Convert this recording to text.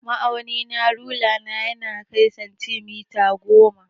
Ma'auni na rula na ya kai santimita goma.